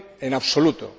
en absoluto.